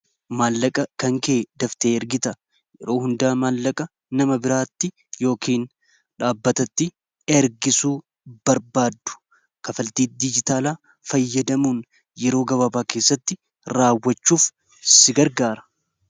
maallaqa kan kee daftee ergita yeroo hundaa maallaqa nama biraatti yookin dhaabbatatti ergisuu barbaadu kafaltii dijitaala fayyadamuun yeroo gababaa keessatti raawwachuuf si gargaara